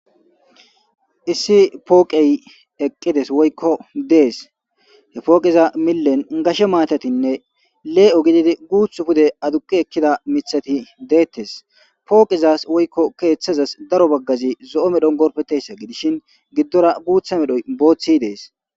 issi pooqey eqqides woykko dees he pooqiza millen gashe maatatinne lee7o gididi guuth pude aduki ekkida mithati deettes pooqizas woykko keeththazas daro baggazi zo7o medhon gorpetessa gidishin giddora guutha medhoy booththi dees